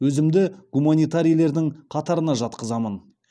өзімді гуманитарийлердің қатарына жатқызамын